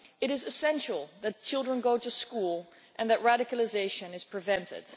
It is essential that children go to school and that radicalisation is prevented.